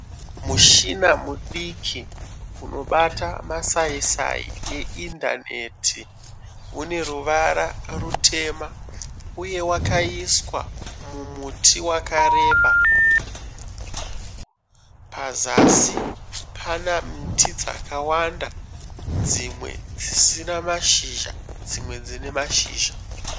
Mushina mudiki unobata masaisai eindaneti. Une ruvara rutema uye wakaiswa mumuti wakareba. Pazasi pane miti yakawanda imwe ine mashizha imwe isina mashizha.